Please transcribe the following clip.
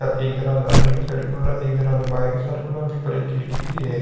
एक दरवाजा अंदर की साइड खुल रा है एक दरवाजा बाहर की साइड खुल रा है और बी पर एक खिड़की भी है।